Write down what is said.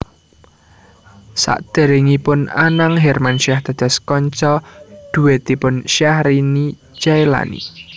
Sadèrèngipun Anang Hermansyah dados kanca dhuètipun Syahrini Jaelani